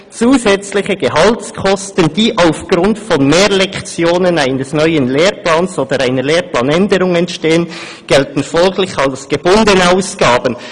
Zusätzliche Gehaltskosten, die aufgrund von Mehrlektionen eines neuen Lehrplans oder einer Lehrplanänderung entstehen, gelten folglich als gebundenen Ausgaben.